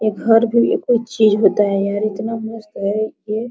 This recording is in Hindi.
ये घर पे भी एक चीज़ होता है और इतना मस्त है की --